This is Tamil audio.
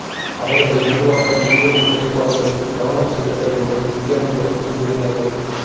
அவர்கள் நிர்வாகம் பின்வரும் குறைபாடுகளும் கவனம் செலுத்த வேண்டும் விஞ்ஞானிகள் நம்புகிறார்கள்